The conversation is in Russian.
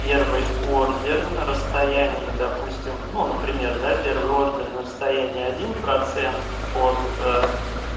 первый ордер на расстоянии допустим ну например да первый ордер на расстоянии один процент от